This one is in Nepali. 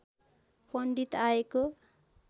पण्डित आएको